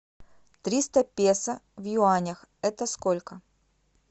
триста песо в юанях это сколько